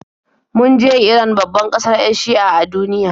Mun je Iran, babbar kasar 'yan Shi'a a duniya.